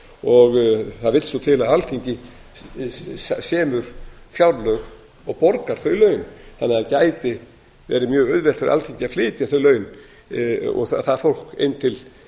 og það vill svo til að alþingi semur fjárlög og borgar þau laun þannig að það gæti verið mjög auðvelt fyrir alþingi að flytja þau laun og það fólk inn til